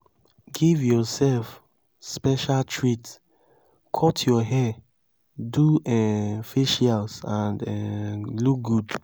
give yourself special treat cut your hair do um facials and um look good